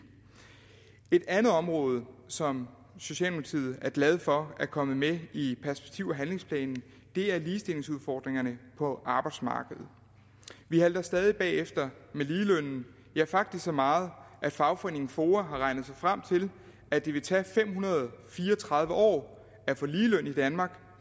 et andet område som socialdemokratiet er glad for er kommet med i perspektiv og handlingsplanen er ligestillingsudfordringerne på arbejdsmarkedet vi halter stadig bagefter med ligelønnen ja faktisk så meget at fagforeningen foa har regnet sig frem til at det vil tage fem hundrede og fire og tredive år at få ligeløn i danmark